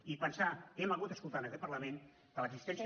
i pensar que hem hagut d’escoltar en aquest parlament que l’existència